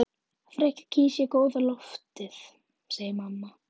Frekar kýs ég góða loftið, segir mamma.